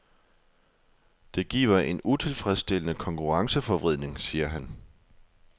Det giver en utilfredsstillende konkurrenceforvridning, siger han.